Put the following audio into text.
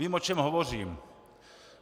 Vím, o čem hovořím.